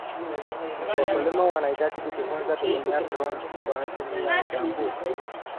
Wakulima wanahitaji kujifunza kutumia drones kwa ajili ya uchambuzi.